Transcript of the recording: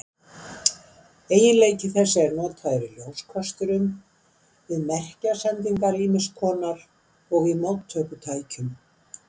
Eiginleiki þessi er notaður í ljóskösturum, við merkjasendingar ýmiss konar og í móttökutækjum.